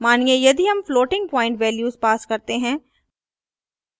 मानिए यदि हम floating प्वॉइंट values pass करते हैं